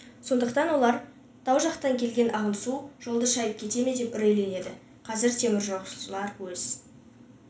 сондықтан олар тау жақтан келген ағын су жолды шайып кете ме деп үрейленеді қазір теміржолшылар өз